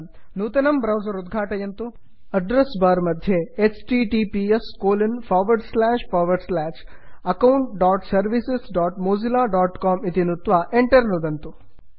नूतनं ब्रौसर् उद्घाटयन्तु address bar मध्ये httpsaccountservicesmozillacom इति नुत्वा Enter नुदन्तु